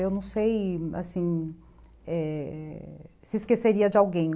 Eu não sei, assim, é... se esqueceria de alguém.